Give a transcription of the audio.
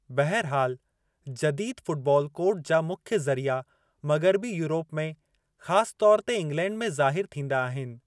बहरहाल, जदीद football code जा मुख्य ज़रिया मग़िरबी यूरोप में, ख़ासि तौर ते इंगलैंड में ज़ाहिरु थींदा आहिनि।